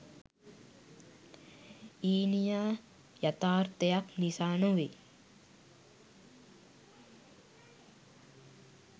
ඊනියා යතාර්ථයක් නිසා නොවෙයි.